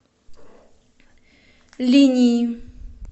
линьи